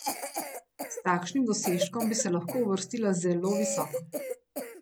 S takšnim dosežkom bi se lahko uvrstila zelo visoko.